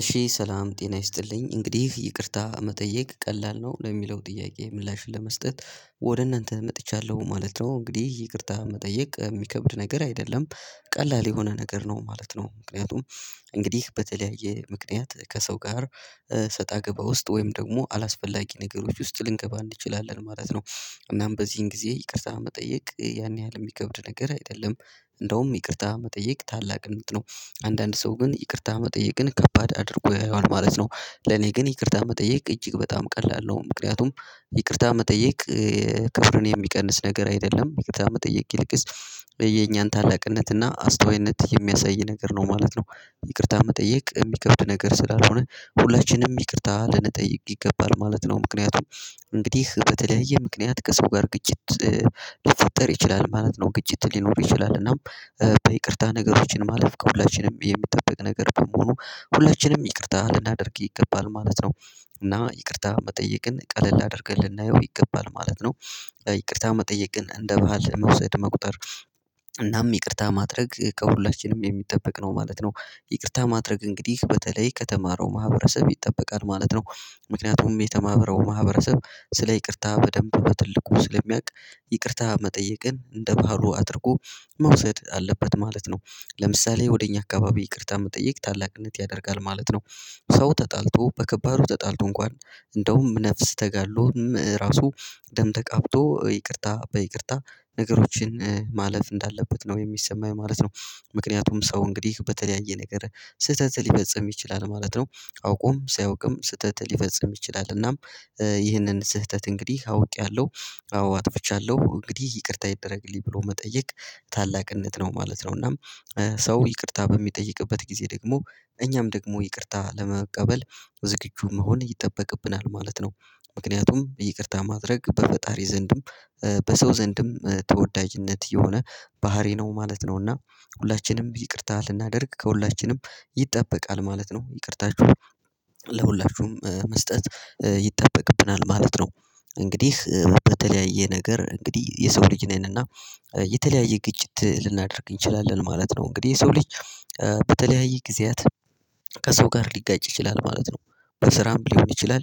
እሺ ሰላም ጤና ይስጥልኝ እንግዲህ ይቅርታ መጠየቅ ቀላል ነው ለሚለው ጥያቄ ምላሽ ለመስጠት ወደ እናንተ መጥቻለሁ ማለት ነው። እንግዲህ ይቅርታ መጠየቅ የሚከብድ ነገር አይደለም ቀላል የሆነ ነገር ነው ማለት ነው። ምክንያቱም እንግዲህ በተለያየ ምክንያት ከሰው ጋር ስጣ ገባ ውስጥ ወይም ደግሞ አላስፈላጊ ነገሮች ውስጥ ልንገባ እንችላለን ማለት ነው። እናም በዚህን ጊዜ ይቅርታ መጠየቅ ያን ያህል የሚከብድ ነገር አይደለም። እንደውም ይቅርታ መጠየቅ ታላቅነት ነው። አንዳንድ ሰው ግን ይቅርታ መጠየቅን ከባድ አድርጎ ያየዋል ማለት ነው። ለኔ ግን ይቅርታ መጠየቅ እጅግ በጣም ቀላል ነው። ምክንያቱም ይቅርታ መጠየቅ ክብርን የሚቀንስ ነገር አይደለም ይቅርታ መጠየቅ ይልቅስ የኛን ታላቅነት እና አስተዋይነት የሚያሳይ ነገር ነው ማለት ነው። ይቅርታ መጠየቅ የሚከብድ ነገር ስላልሆነ ሁለችንም ይቅርታ ልንጠይቅ ይገባል ማለት ነው። ምክንያቱም እንግዲህ በተለያየ ምክንያት ከሰው ጋር ግጭት ሊፈጠር ይችላል ማለት ነው። ግጭት ሊኖር ይችላል እና በይቅርታ ነገሮችን ማለፍ ከሁላችንም የሚጠበቅ ነገር በመሆኑ ሁላችንም ይቅርታ ልናደርግ ይገባል ማለት ነው። እና ይቅርታ መጠየቅን ቀለል አድርገን ልናየው ይገባል ማለት ነው። ይቅርታ መጠየቅን እንደ ባህል መውሰድ መቁጠር እናም ይቅርታ ማድረግ ከሁላችንም የሚጠበቅ ነው ማለት ነው። ይቅርታ ማድረግ እንግዲህ በተለይ ከተማረው ማህበረሰብ ይጠበቃል ማለት ነው። ምክንያቱም የተማበረው ማህበረሰብ ስለ ይቅርታ በደንብ በትልቁ ስለሚያቅ ይቅርታ መጠየቅን እንደ ባህሉ አድርጎ መውሰድ አለበት ማለት ነው። ለምሳሌ ወደ እኛ አካባቢ ይቅርታ መጠየቅ ታላቅነት ያደርጋል ማለት ነው። ሰው ተጣልቶ በከባዱ ተጣልቶ እንኳን እንደውም ነፍስ ተጋድሎም ራሱ ደም ተቃብቶ ይቅርታ በይቅርታ ነገሮችን ማለፍ እንዳለበት ነው የሚሰማኝ ማለት ነው። ምክንያቱም ሰው እንግዲህ በተለያየ ነገር ስህተት ሊፈጽም ይችላል ማለት ነው። አውቆም ሳያውቅም ስህተት ሊፈጽም ይችላል እናም ይህንን ስህተት እንግዲህ አውቄያለሁ አዎ አጥፍቻለሁ እንግዲህ ይቅርታ ይደረግልኝ ብሎ መጠየቅ ታላቅነት ነው ማለት ነው። እናም ሰው ይቅርታ በሚጠይቅበት ጊዜ ደግሞ እኛም ደግሞ ይቅርታ ለመቀበል ዝግጁ መሆን ይጠበቅብናል ማለት ነው። ምክንያቱም ይቅርታ ማድረግ በፈጣሪ ዘንድም በሰው ዘንድም ተወዳጅነት የሆነ ባህሪ ነው ማለት ነው። እና ሁላችንም ይቅርታ ልናደርግ ከሁላችንም ይጠበቃል ማለት ነው ይቅርታችሁ ለሁላችሁም መስጠት ይጠበቅብናል ማለት ነው። እንግዲህ በተለያየ ነገር እንግዲህ የሰው ልጅ ነን እና የተለያየ ግጭት ልናደርግ እንችላለን ማለት ነው። እንግዲህ የሰው ልጅ በተለያየ ጊዜያት ከሰው ጋር ሊጋጭ ይችላል ማለት ነው። በስራም ሊሆን ይችላል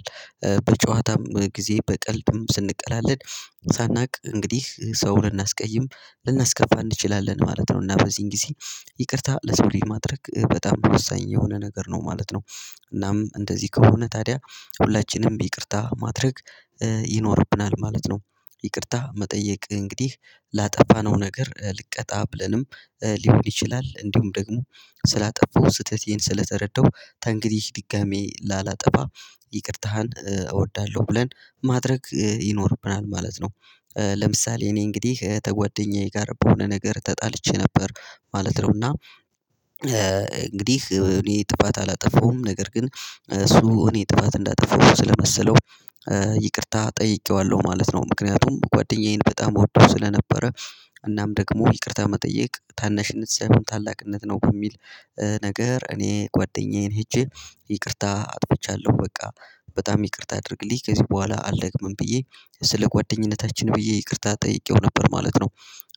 በጨዋታም ጊዜ በቀልድም ስንቀላቀድ ሳናውቅ እንግዲህ ሰው ልናስቀይም ልናስከፋ እንችላለን ማለት ነው። እና በዚህን ጊዜ ይቅርታ ለሰው ልጅ ማድረግ በጣም ወሳኝ የሆነ ነገር ነው ማለት ነው። እናም እንደዚህ ከሆነ ታዲያ ሁላችንም ይቅርታ ማድረግ ይኖርብናል ማለት ነው። ይቅርታ መጠየቅ እንግዲህ ላጠፋነው ነገር ልቀጣ ብለንም ሊሆን ይችላል እንዲሁም ደግሞ ስላጠፋው ስህተቴን ስለተረዳሁ ተንግዲህ ድጋሚ ላላጠፋ ይቅርታህን እወዳለሁ ብለን ማድረግ ይኖርብናል ማለት ነው። ለምሳሌ እኔ እንግዲህ ተጓደኛዬ ጋር በሆነ ነገር ተጣልቼ ነበር ማለት ነው። እና እንግዲህ እኔ ጥፋት አላጠፋውም ነገር ግን እሱ እኔ ጥፋት እንዳጠፋው ስለመሰለው ይቅርታ ጠይቄዋለሁ ማለት ነው። ምክንያቱም ጓደኛዬን በጣም እወደው ስለነበረ። እናም ደግሞ ይቅርታ መጠየቅ ታናሽ ንጽህናም ታላቅነት ነው በሚል ነገር እኔ ጓደኛዬን ሄጄ ይቅርታ አጥፍቻለሁ በቃ በጣም ይቅርታ አድርግልኝ ከዚህ በኋላ አልደግምም ብዬ ስለ ጓደኝነታችን ብዬ ይቅርታ ጠይቄው ነበር ማለት ነው።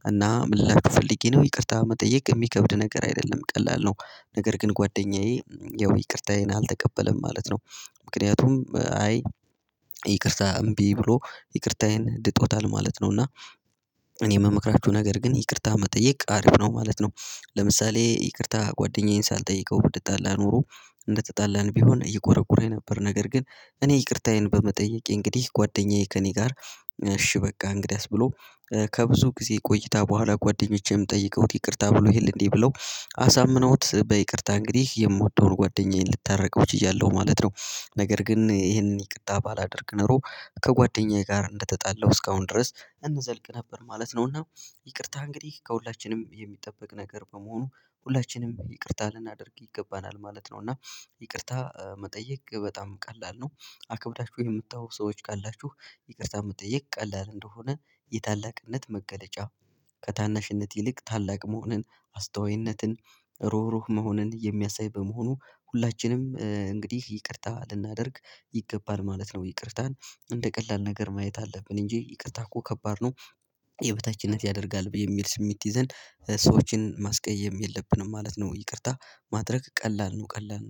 እና ምንልላቹ ፈልጌ ነው ይቅርታ መጠየቅ የሚከብድ ነገር አይደለም ቀላል ነው። ነገር ግን ጓደኛዬ ያው ይቅርታዬን አልተቀበለም ማለት ነው። ምክንያቱም አይ ይቅርታ እምቢ ብሎ ይቅርታዬን ድጦታል ማለት ነው። እና እኔ የምመክራችሁ ነገር ግን ይቅርታ መጠየቅ አሪፍ ነው ማለት ነው። ለምሳሌ ይቅርታ ጓደኛዬን ሳልጠይቀው ብንጣላ ኖሮ እንደተጣላን ቢሆን እየቆረቁረኝ ነበር። ነገር ግን እኔ ይቅርታዬን በመጠየቅ እንግዲህ ጓደኛዬ ከእኔ ጋር እሺ በቃ እንግዲያስ ብሎ ከብዙ ጊዜ ቆይታ በኋላ ጓደኞቼም ጠይቀውት ይቅርታ ብሎ ይሄል እንዴ ብለው አሳምነውት በይቅርታ እንግዲህ የምወደውን ጓደኛዬን ልታረቀው ችያለሁ ማለት ነው። ነገር ግን ይሄንን ይቅርታ ባላደርግ ኖሮ ከጓደኛዬ ጋር እንደተጣለሁ እስካሁን ድረስ እንዘልቅ ነበር ማለት ነው። እና ይቅርታ እንግዲህ ከሁላችንም የሚጠበቅ ነገር በመሆኑ ሁላችንም ይቅርታ ልናደርግ ይገባናል ማለት ነው። እና ይቅርታ መጠየቅ በጣም ቀላል ነው። አክብዳችሁ የምታዩ ሰዎች ካላችሁ ይቅርታ መጠየቅ ቀላል እንደሆነ የታላቅነት መገለጫ ከታናሽነት ይልቅ ታላቅ መሆንን አስተዋይነትን ሩህሩህ መሆንን የሚያሳይ በመሆኑ ሁላችንም እንግዲህ ይቅርታ ልናደርግ ይገባል ማለት ነው። ይቅርታን እንደ ቀላል ነገር ማየት አለብን እንጂ ይቅርታ እኮ ከባድ ነው። የበታችነት ያደርጋል በሚል ስሜት ይዘን ሰዎችን ማስቀየም የለብንም ማለት ነው። ይቅርታ ማድረግ ቀላል ነው ቀላል